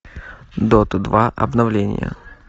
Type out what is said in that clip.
дота два обновление